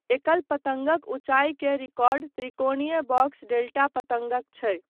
एकल पतङ्गक ऊञ्चाइ के रिकॉर्ड, 'त्रिकोणीय बॉक्स डेल्टा' पतङ्गक छै।